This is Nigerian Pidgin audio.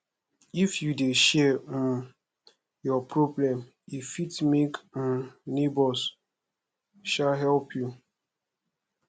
if you dey share um your problem e fit make um nebors um help you